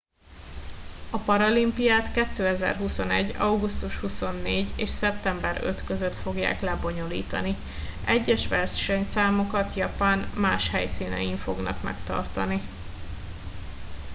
a paralimpiát 2021. augusztus 24. és szeptember 5. között fogják lebonyolítani egyes versenyszámokat japán más helyszínein fognak megtartani